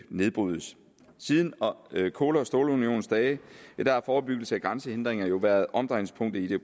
nedbrydes siden kul og stålunionens dage har forebyggelse af grænsehindringer været omdrejningspunktet i det